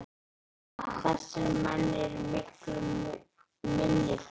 En þessir menn eru í miklum minnihluta.